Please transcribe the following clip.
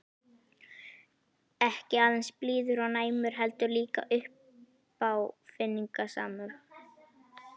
Ekki aðeins blíður og næmur- heldur líka uppáfinningasamur.